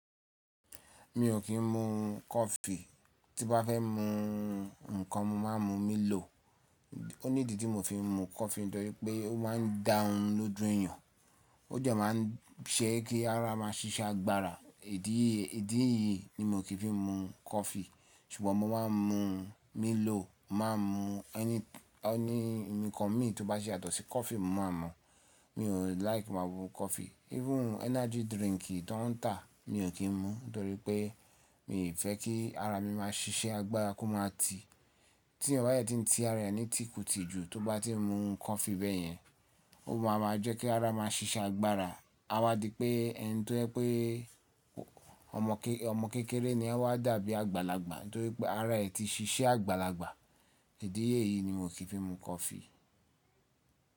Mi ò kí ń mu coffee, tí bá fẹ́ mu ǹkan mo máa ń mu Milo. Òní idí tí mo fi ń mu coffee nítorí pé ó máa ń dá orun lójú èyàn, ó jẹ máa ń ṣẹ́ kí ara ma ṣíṣẹ́ agbára idi e. Idí eyìí ni mo kìí fi ń mu coffee ṣùgbọ́n mo máa ń mu Milo, máa ń mu ẹni ǹkan mi tó bá ṣe yàtọ̀ sí coffee mo máa mọ̀. Mi ò like ki n máa mu coffee. Even energy drink tí ó ń tà mi ò kí ń mu nítorí pé mi ò fẹ́ kí ara mi máa ṣíṣe agbára kó máa ti. Tí yàn bá yẹ ti ń ti ara ẹ ní ti kù tì jù, tó bá ti ń mu coffee bẹ́ẹ̀ yẹn, ó máa ma jẹ́ kí ara ma ṣíṣẹ́ agbára. A máa di pé ẹni tó ẹpè ọmọ kékeré ni a wá dàbí àgbàlagbà nítorí pé ara ẹ ti ṣíṣẹ́ àgbàlagbà. Idí yìí ni mo kì í fi ń mu coffee.